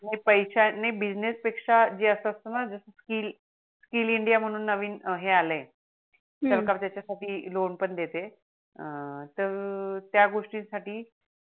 नाही बिझनेस पेक्षा जे अस असत णा जस SKILL INDIA म्हणून नवीन हे आलय हम्म सरकार त्याच्या साठी लोन पण देते तर त्या गोष्टी साठी